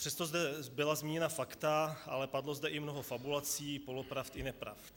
Přesto zde byla zmíněna fakta, ale padlo zde i mnoho fabulací, polopravd i nepravd.